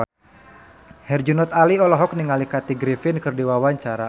Herjunot Ali olohok ningali Kathy Griffin keur diwawancara